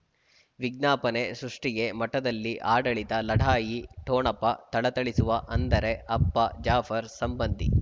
ವಿಜ್ಞಾಪನೆ ಸೃಷ್ಟಿಗೆ ಮಠದಲ್ಲಿ ಆಡಳಿತ ಲಢಾಯಿ ಠೊಣಪ ಥಳಥಳಿಸುವ ಅಂದರೆ ಅಪ್ಪ ಜಾಫರ್ ಸಂಬಂಧಿ